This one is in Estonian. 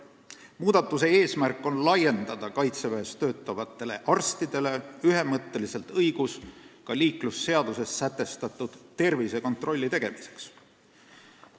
Muudatuse eesmärk on laiendada Kaitseväes töötavatele arstidele ühemõtteliselt õigus ka liiklusseaduses sätestatud tervisekontrolli teha.